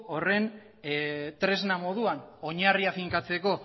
horren tresna moduan oinarria finkatzeko